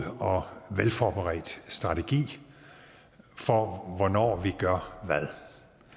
og velforberedt strategi for hvornår vi gør hvad